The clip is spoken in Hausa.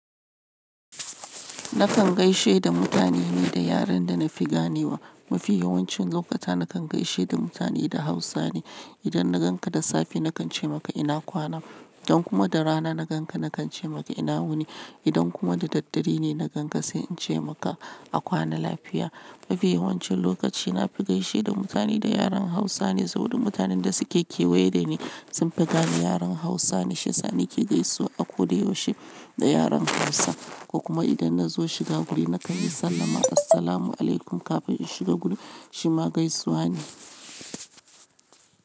Nakan gaishe da mutane ne da yaren da na fi gane wa. Mafiya yawancin lokuta nakan gaishe da mutane da Hausa ne. Idan na ganka da safe nakan ce maka ina kwana, idan kuma da rana na ganka nakan ce maka ina wuni, idan kuma da daddare ne na ganka sai in ce maka a kwana lafiya. Mafiya yawancin lokaci na fi gaishe da mutane da yaren Hausa ne saboda mutanen da suke kewaye da ni sun fi gane yaren Hausa ne. Shi sani ke gaisuwa a ko da yaushe da yaren Hausa. Kuma idan na zo shiga guri na kan yi sallama Assalamualaikum kamin in shiga guri shi ma gaisuwa ne.